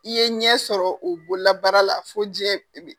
I ye ɲɛ sɔrɔ o bololabaara la fo diɲɛ